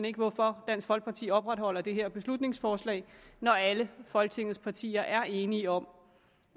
ikke hvorfor dansk folkeparti opretholder det her beslutningsforslag når alle folketingets partier er enige om